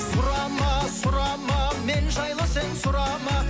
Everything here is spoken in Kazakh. сұрама сұрама мен жайлы сен сұрама